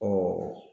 Ɔ